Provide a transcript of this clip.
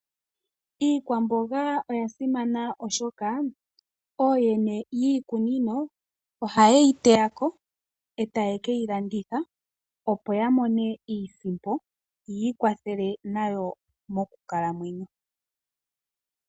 Iikwamboga oya simana oshoka ooyene yiikunino ohaya teya iikwamboga yawo etaye keyilanditha, opo ya mone iisimpo yi ikwathele nayo mokukalamwenyo.